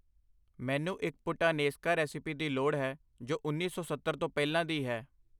ਮੈਨੂੰ ਇੱਕ puttanesca recipe ਦੀ ਲੋੜ ਹੈ ਜੋ ਉੰਨੀ ਸੌ ਸੱਤਰ ਤੋਂ ਪਹਿਲਾਂ ਦੀ ਹੈ I